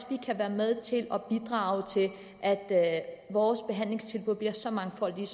vi kan være med til at bidrage til at vores behandlingstilbud bliver så mangfoldige